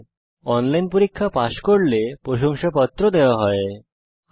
যারা অনলাইন পরীক্ষা পাস করে তাদের প্রশংসাপত্র সার্টিফিকেট ও দেওয়া হয়